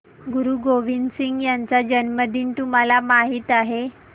गुरु गोविंद सिंह यांचा जन्मदिन तुम्हाला माहित आहे